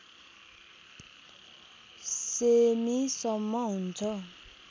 semi सम्म हुन्छ